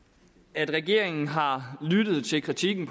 at regeringen har lyttet til kritikken